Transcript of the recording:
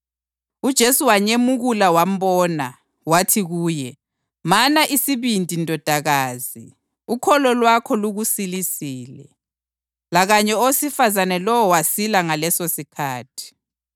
UJesu wanyemukula wambona. Wathi kuye, “Mana isibindi ndodakazi, ukholo lwakho lukusilisile.” Lakanye owesifazane lowo wasila ngalesosikhathi.